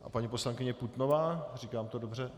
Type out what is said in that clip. A paní poslankyně Putnová, říkám to dobře?